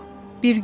Eybi yox.